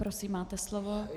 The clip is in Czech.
Prosím, máte slovo.